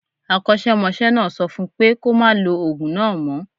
Akọ́ṣẹ́mọṣẹ́ náà sọ fún pé kó máa lo ògùn náà mo